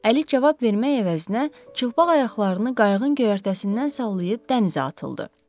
Əli cavab vermək əvəzinə çılpaq ayaqlarını qayığın göyərtəsindən sallayıb dənizə atıldı.